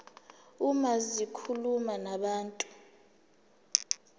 uma zikhuluma nabantu